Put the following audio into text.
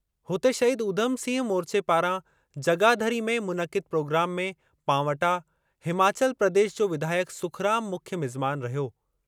हुते शहीद उधम सिंह मोर्चे पारां जगाधरी में मुनक़िद प्रोग्राम में पांवटा, हिमाचल प्रदेश जो विधायक सुखराम मुख्य मिज़मान रहियो।